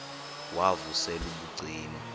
wav usel ubucima